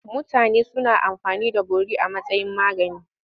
Mutanen da suna amfani da bori a matsayin magani.